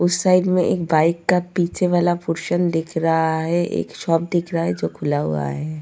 उस साइड में एक बाइक का पीछे वाला पोर्शन दिख रहा है एक शॉप दिख रहा है जो खुला हुआ है।